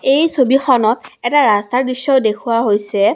এই ছবিখনত এটা ৰাস্তাৰ দৃশ্যও দেখুওৱা হৈছে।